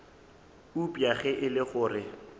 eupša ge e le gore